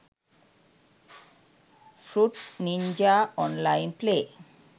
fruit ninja online play